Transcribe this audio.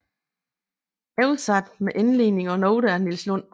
Oversat med indledning og noter af Niels Lund